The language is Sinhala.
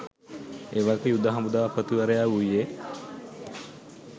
එවක යුද හමුදාපතිවරයා වුයේ